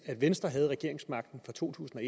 venstre havde regeringsmagten fra to tusind